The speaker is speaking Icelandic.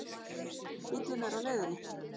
Bíllinn er á leiðinni.